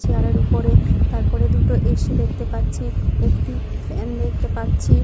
Chair এর উপরে তারপরে দুটো এ.সি. দেখতে পাচ্ছি। একটি ফ্যান দেখতে পাচ্ছি।